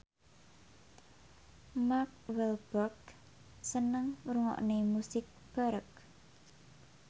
Mark Walberg seneng ngrungokne musik baroque